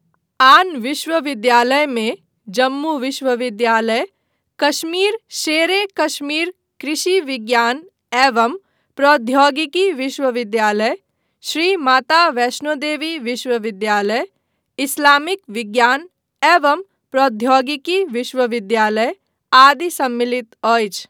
आन विश्वविद्यालयमे जम्मू विश्वविद्यालय, कश्मीर शेर ए कश्मीर कृषि विज्ञान एवं प्रौद्योगिकी विश्वविद्यालय, श्री माता वैष्णो देवी विश्वविद्यालय, इस्लामिक विज्ञान एवं प्रौद्योगिकी विश्वविद्यालय आदि सम्मलित अछि।